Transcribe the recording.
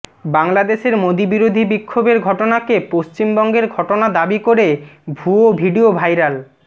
বাংলাদেশের মোদী বিরোধী বিক্ষোভের ঘটনাকে পশ্চিমবঙ্গের ঘটনা দাবি করে ভুয়ো ভিডিও ভাইরাল